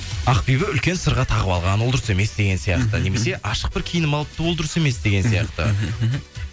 ақбибі үлкен сырға тағып алған ол дұрыс емес деген сияқты мхм немесе ашық бір киініп алыпты ол дұрыс емес деген сияқты мхм